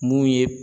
Mun ye